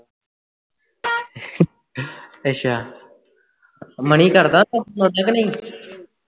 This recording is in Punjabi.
ਅੱਛਾ ਮਣੀ ਕਰਦਾ phone ਉਠਾ ਕੇ ਨਹੀਂ